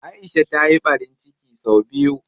Aisha ta yi ɓarin ciki sau biyu.